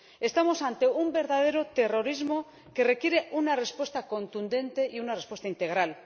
Estamos ante un verdadero terrorismo que requiere una respuesta contundente y una respuesta integral.